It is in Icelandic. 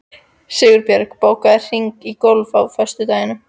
Sigbjörn, bókaðu hring í golf á föstudaginn.